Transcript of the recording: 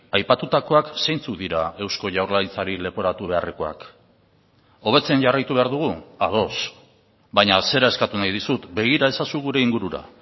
aipatutakoak zeintzuk dira eusko jaurlaritzari leporatu beharrekoak hobetzen jarraitu behar dugu ados baina zera eskatu nahi dizut begira ezazu gure ingurura